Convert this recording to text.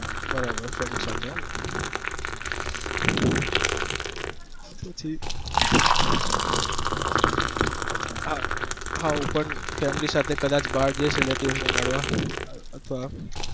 બરાબર friend સાથે એમ હા હું પણ family સાથે કદાચ બાર જઈશ એકલા માં મળવા